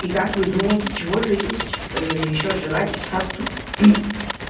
и как вы думаете чего же есть ээ ещё желать сатту